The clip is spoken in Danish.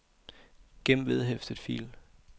gem vedhæftet fil